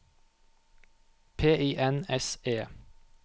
P I N S E